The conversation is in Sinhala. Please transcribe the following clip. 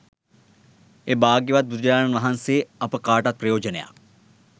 ඒ භාග්‍යවත් බුදුරජාණන් වහන්සේ අප කාටත් ප්‍රයෝජනයක්